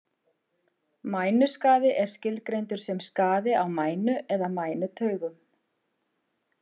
Mænuskaði er skilgreindur sem skaði á mænu eða mænutaugum.